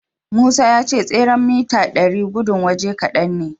Musa ya ce tseren mita ɗari gudun waje kadan ne.